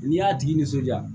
N'i y'a tigi nisɔndiya